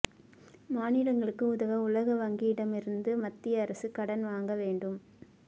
மாநிலங்களுக்கு உதவ உலக வங்கியிடமிருந்து மத்திய அரசு கடன் வாங்க வேண்டும்